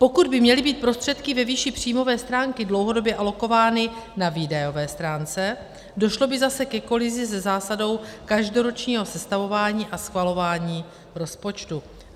Pokud by měly být prostředky ve výši příjmové stránky dlouhodobě alokovány na výdajové stránce, došlo by zase ke kolizi se zásadou každoročního sestavování a schvalování rozpočtu.